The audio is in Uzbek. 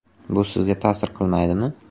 Bu sizga ta’sir qilmaydimi?